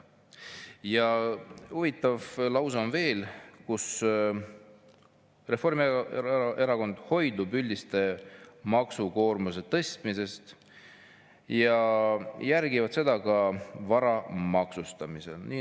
Ja huvitav lause on veel: "Hoidume üldise maksukoormuse tõstmisest ja järgime seda ka vara maksustamisel.